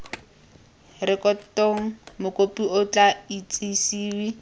rekotong mokopi o tla itsisiwe